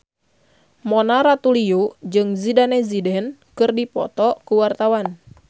Mona Ratuliu jeung Zidane Zidane keur dipoto ku wartawan